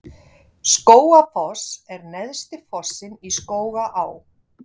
Skógafoss er neðsti fossinn í Skógaá.